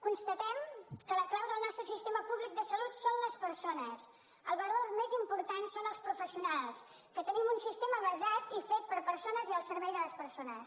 constatem que la clau del nostre sistema públic de salut són les persones el valor més important són els professionals que tenim un sistema basat i fet per persones i al servei de les persones